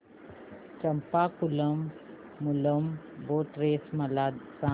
Champakulam Moolam boat race मला सांग